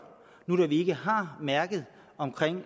nu da vi ikke har mærket